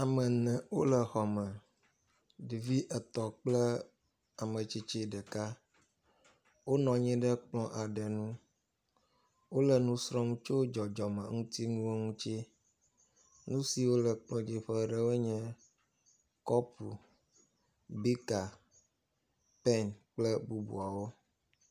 Ame ene wole xɔme, ɖevi etɔ̃ kple ametsitsi ɖeka. Wonɔ anyi ɖe kplɔ aɖe ŋu. wole nu srɔ̃m tso dzɔdzɔme ŋutinuwo ŋuti. Nu siwo le ekplɔ dzi ƒe ɖewoe nye, kɔpu, … pɛn kple bubuawo.